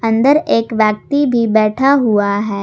अंदर एक व्यक्ति भी बैठा हुआ है।